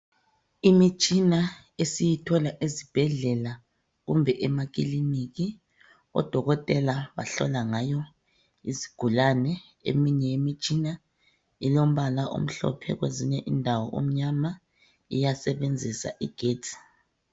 Imitshina esiyithola ezibhedlela kumbe ema kiliniki odokotela bahlola ngayo izigulane eminye imitshina ilombala omhlophe kwezinye indawo omnyama iyasebenzisa igetsi.